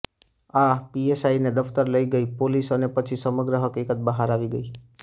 આ પીએસઆઈને દફતર લઇ ગઈ પોલીસ અને પછી સમગ્ર હકીકત બહાર આવી ગઈ